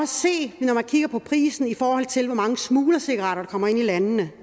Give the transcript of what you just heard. se det når man kigger på prisen i forhold til hvor mange smuglercigaretter der kommer ind i landene